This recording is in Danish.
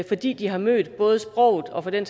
fordi de har mødt både sproget og for den